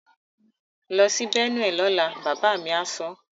Lọ sí Benue lọ́la! Bàbá mi á sọ.